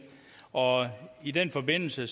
og i den forbindelse